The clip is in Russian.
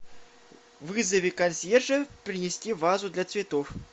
вызови консьержа принести вазу для цветов